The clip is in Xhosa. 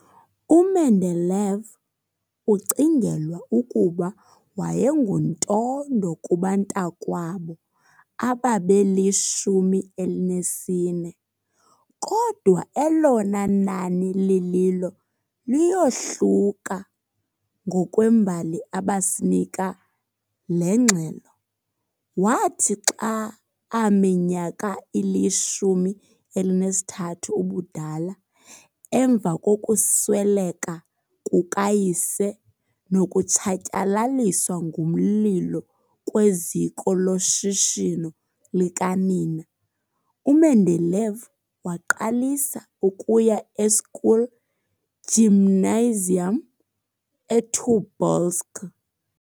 U-Mendeleev ucingelwa ukuba wayenguntondo kubantakwabo ababeli-14, kodwa elona nani lililo liyohluka ngokwabhali abasinika le ngxelo. Wathi xa aminyaka ili-13 ubudala, emva kokusweleka kukayise nokutshatyalaliswa ngomlilo kweziko loshishino likanina, uMendeleev waqalisa ukuya e, school,|Gymnasium eTobolsk.